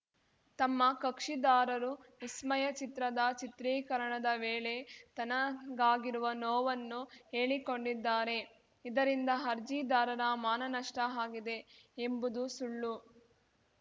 ತಮ್ಮ ಕಕ್ಷಿದಾರರು ವಿಸ್ಮಯ ಚಿತ್ರದ ಚಿತ್ರೀಕರಣದ ವೇಳೆ ತನಗಾಗಿರುವ ನೋವನ್ನು ಹೇಳಿಕೊಂಡಿದ್ದಾರೆ ಇದರಿಂದ ಅರ್ಜಿದಾರರ ಮಾನನಷ್ಟಆಗಿದೆ ಎಂಬುದು ಸುಳ್ಳು